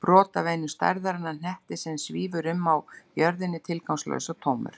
Brot af einum stærðarinnar hnetti sem svífur um á jörðinni tilgangslaus og tómur.